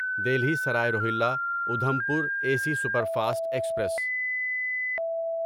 Delhi Sarai Rohilla Udhampur A C superfast express